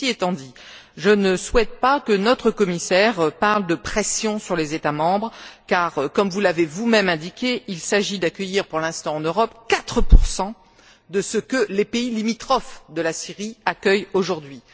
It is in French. Ceci étant dit, je ne souhaite pas que notre commissaire parle de pression sur les États membres car, comme vous l'avez vous même indiqué, il s'agit d'accueillir pour l'instant en Europe 4 de ce que les pays limitrophes de la Syrie accueillent aujourd'hui.